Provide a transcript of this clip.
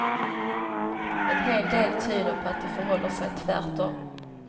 En hel del tyder på att det förhåller sig tvärtom.